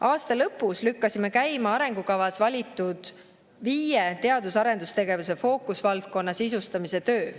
Aasta lõpus lükkasime käima arengukavas valitud viie teadus‑ ja arendustegevuse fookusvaldkonna sisustamise töö.